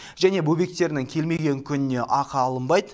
және бөбектерінің келмеген күніне ақы алынбайды